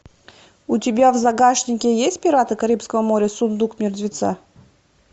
у тебя в загашнике есть пираты карибского моря сундук мертвеца